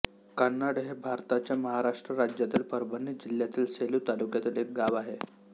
कान्हाड हे भारताच्या महाराष्ट्र राज्यातील परभणी जिल्ह्यातील सेलू तालुक्यातील एक गाव आहे